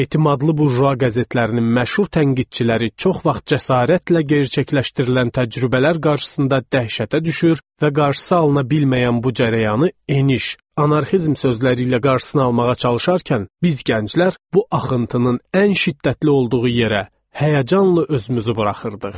Etibarlı bujua qəzetlərinin məşhur tənqidçiləri çox vaxt cəsarətlə gerçəkləşdirilən təcrübələr qarşısında dəhşətə düşür və qarşısı alına bilməyən bu cərəyanı eniş, anarxizm sözləri ilə qarşısını almağa çalışarkən biz gənclər bu axıntının ən şiddətli olduğu yerə həyəcanla özümüzü buraxırdıq.